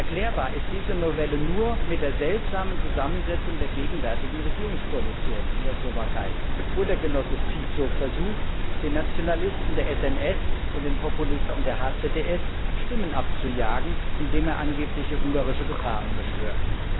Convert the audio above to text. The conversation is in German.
Erklärbar ist diese Novelle nur mit der seltsamen Zusammensetzung der gegenwärtigen Regierungskoalition in der Slowakei, wo der Genosse Fico versucht, den Nationalisten der SNS und den Populisten der HZDS Stimmen abzujagen, indem er angebliche ungarische Gefahren beschwört.